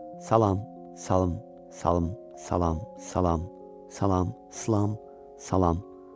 Salam, salam, salam, salam, salam, salam, islam, salam.